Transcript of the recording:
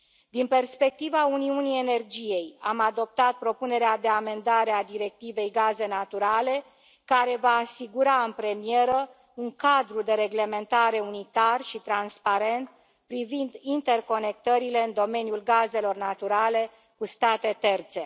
Din perspectiva uniunii energiei, am adoptat propunerea de amendare a Directivei gaze naturale, care va asigura, în premieră, un cadru de reglementare unitar și transparent privind interconectările în domeniul gazelor naturale cu state terțe.